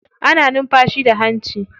Ana numfashi da hanci.